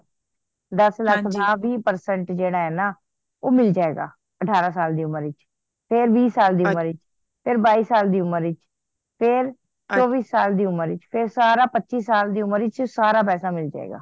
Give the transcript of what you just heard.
ਦੱਸ ਲੱਖ ਦਾ ਵੀਹ percent ਜੇੜਾ ਹੈ ਨਾ ਉਹ ਮਿਲ ਜਾਏਗਾ ਅਠਾਰਹ ਸਾਲ ਦੀ ਉਮਰ ਚ ਤੇ ਵੀਹ ਸਾਲ ਦੀ ਉਮਰ ਚ ਫੇਰ ਬਾਈ ਸਾਲ ਦੀ ਉਮਰ ਚ ਫੇਰ ਚੋਵੀਹ ਸਾਲ ਦੀ ਉਮਰ ਚ ਫੇਰ ਸਾਰਾ ਪਚੀਹ ਸਾਲ ਦੀ ਉਮਰ ਚ ਸਾਰਾ ਪੈਸ ਮਿਲ ਜੇ ਗਾ